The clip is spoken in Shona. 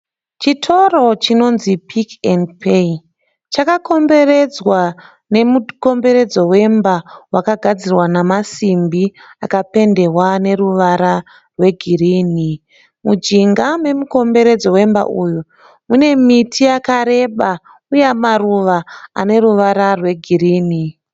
Chitoro chinonzi Pick n Pay. Chakakomberedzwa nemukomberedzo wemba wakagadzirwa namasimbi akapendewa neruvara rwegirini. Mujinga memukomberedzo wemba uyu mune miti yakareba uye maruva ane ruvara rwegirini.